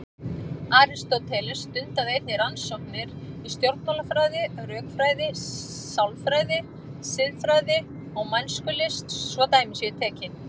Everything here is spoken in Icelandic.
Aristóteles stundaði einnig rannsóknir í stjórnmálafræði, rökfræði, sálfræði, siðfræði og mælskulist svo dæmi séu tekin.